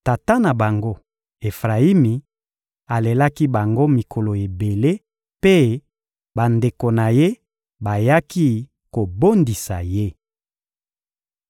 Tata na bango Efrayimi alelaki bango mikolo ebele, mpe bandeko na ye bayaki kobondisa ye.